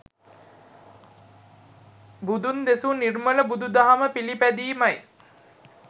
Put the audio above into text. බුදුන් දෙසූ නිර්මල බුදු දහම පිළිපැදීමයි.